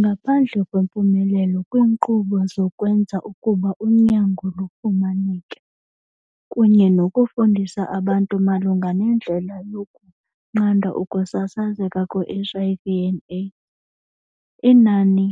Ngaphandle kwempumelelo kwiinkqubo zokwenza ukuba unyango lufumaneke, kunye nokufundisa abantu malunga nendlela yokunqanda ukusasazeka kwe-HIV and AIDS, inani